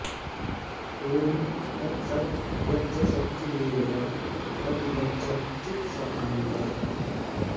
ओं तत्सत् यच्च सच्चिदेव तद्यच्च चित् स आनन्दः